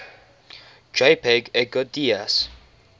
jpg edgar degas